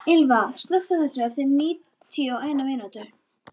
Ylva, slökktu á þessu eftir níutíu og eina mínútur.